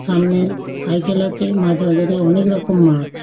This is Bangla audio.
সামনে সাইকেল আছে মাছ বাজারে অনেক রকম মাছ।